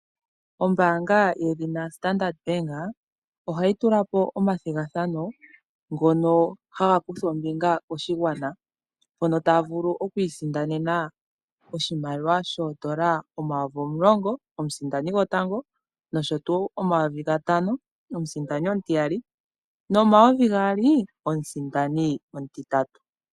Ombaanga yedhina Standard bank ohayi tula po omathigathano ngono haga kuthwa ombinga koshigwana mpono taya vulu oku isindanena oshimaliwa shoondola omayovi omulongo komusindani gwotango nosho tuu omayovi gatano omusindani omutiyali nomayovi gaali omusindani omutitatu.